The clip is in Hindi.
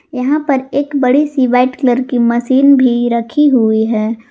यहां पर एक बड़ी सी व्हाइट कलर की मशीन भी रखी हुई है।